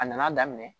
A nana daminɛ